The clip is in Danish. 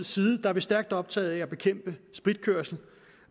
side er vi stærkt optaget af at bekæmpe spritkørsel